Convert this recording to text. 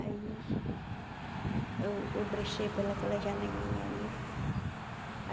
Aí, eu eu brechei pela aquela janelinha ali.